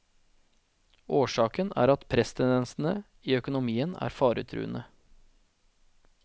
Årsaken er at presstendensene i økonomien er faretruende.